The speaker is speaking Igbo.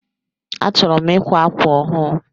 Achọrọ m ikwa ákwà ọhụụ